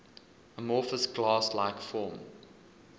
amorphous glass like form